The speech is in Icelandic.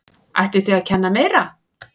Ætlið þið að kenna meira?